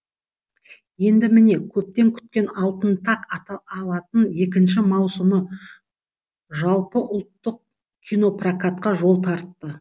енді міне көптен күткен алтын тақ екінші маусымы жалпыұлттық кинопрокатқа жол тартты